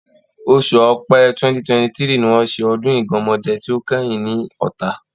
Oṣù Ọpẹ́ 2022 ni wọ́n ṣe ọdún Ìgánmọ́dẹ tí ó kẹ́yìn ní Ọ̀tà.